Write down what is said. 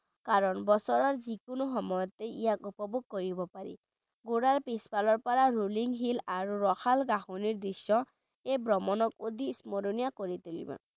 কাৰণ বছৰৰ যিকোনো সময়তে ইয়াক উপভোগ কৰিব পাৰি ঘোঁৰাৰ পিছফালৰ পৰা rolling hill আৰু ৰসাল ঘাঁহনিৰ দৃশ্য এই ভ্ৰমণক অধিক স্মৰণীয় কৰি তুলিব।